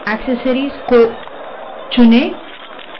application menu applications menu में जाएँ